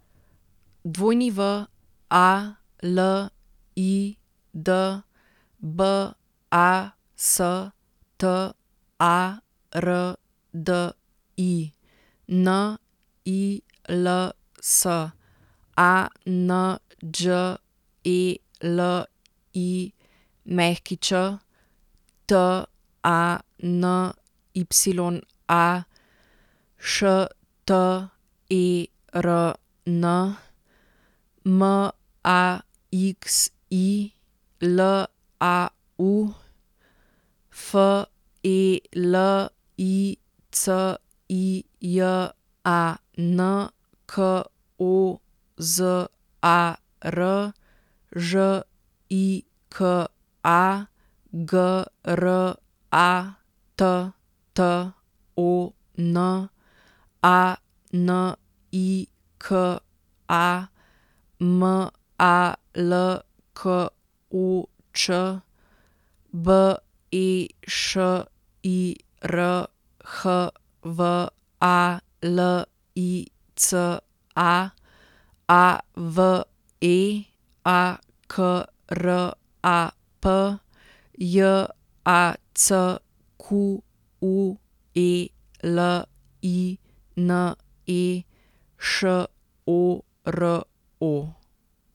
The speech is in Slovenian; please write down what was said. W A L I D, B A S T A R D I; N I L S, A N Đ E L I Ć; T A N Y A, Š T E R N; M A X I, L A U; F E L I C I J A N, K O Z A R; Ž I K A, G R A T T O N; A N I K A, M A L K O Č; B E Š I R, H V A L I C A; A V E, A K R A P; J A C Q U E L I N E, Š O R O.